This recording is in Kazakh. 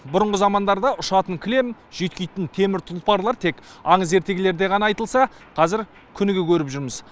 бұрынғы замандарда ұшатын кілем жүйіткитін темір тұлпарлар тек аңыз ертегілерде айтылса қазір күніге көріп жүрміз